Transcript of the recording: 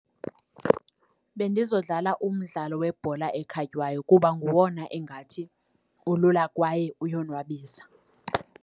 Bendizodlala umdlalo webhola ekhatywayo kuba ngowona engathi ulula kwaye uyonwabisa.